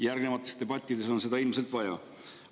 Järgnevates debattides on seda ilmselt vaja.